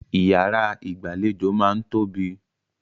Ìyàrá ìgbàlejò máa ń tóbi.